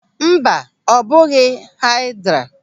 Mba, ọ bụghị haịdra.